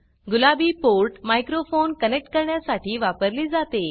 गुलाबी port microphone connect करण्यासाठी वापरली जाते